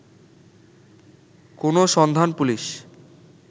কোন সন্ধান পুলিশ